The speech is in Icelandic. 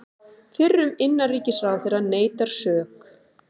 Fyrrum innanríkisráðherra neitar sök